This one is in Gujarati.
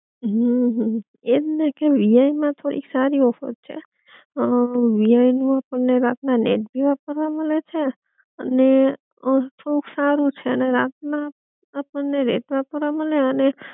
હમ એ જ ને કે વી આઇ માં થોડી સારી ઓફર છે, અ વી આઈ નું આપડને રાત ના નેટ ભી વાપરવા મલે છે, અને અ થોડુંક સારું છે અને રાત ના આપણ ને નેટ વાપરવા મલે અને